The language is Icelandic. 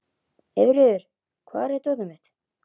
Eyfríður, hvar er dótið mitt?